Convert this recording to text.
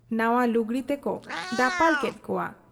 ᱱᱟᱶᱟ ᱞᱩᱜᱽᱲᱤ ᱛᱮᱠᱚ ᱫᱟᱯᱟᱞ ᱠᱮᱫ ᱠᱚᱣᱟ ᱾